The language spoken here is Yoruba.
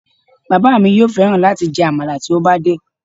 Bàbá mi yóò fẹ́ran láti jẹ àmàlà tí ó bá dé